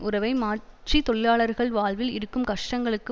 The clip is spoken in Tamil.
உறவை மாற்றி தொழிலாளர்கள் வாழ்வில் இருக்கும் கஷ்டங்களுக்கு